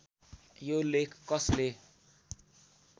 यो लेख कसले